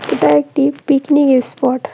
এটা একটি picnic spot.